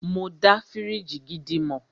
Mọ dá fíríjì gidi mọ̀.